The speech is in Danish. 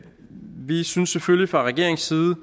fra regeringens side